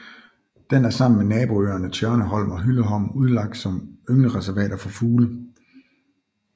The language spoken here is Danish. Den er sammen med naboøerne Tjørneholm og Hylleholm udlagt som ynglereservater for fugle